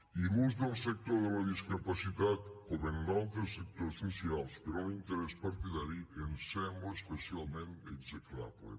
i l’ús del sector de la discapacitat com en d’altres sectors socials per a un interès partidari ens sembla especialment execrable